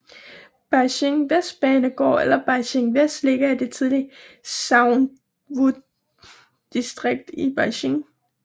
Beijing Vestbanebanegård eller Beijing Vest ligger i det tidligere Xuanwudistrikt i Beijing